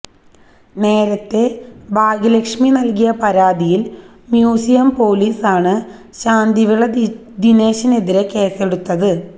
നേരത്തെ ഭാഗ്യലക്ഷ്മി നൽകിയ പരാതിയിൽ മ്യൂസിയം പൊലീസാണ് ശാന്തിവിള ദിനേശിനെതിരെ കേസെടുത്തത്